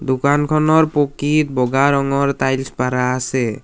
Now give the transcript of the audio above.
দোকানখনৰ পকীত বগা ৰঙৰ টাইলছ পাৰা আছে।